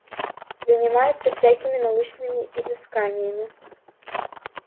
занимается всякими научными изысканиями